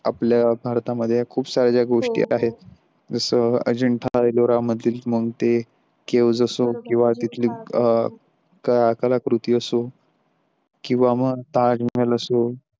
आपल्या भारतामध्ये खूप साऱ्या गोष्टी आहेत जस अजिंठा एलोरा मधील मग ते Caves असो किंवा तिथली कलाकृती असो किंवा मग ताजमहल असो.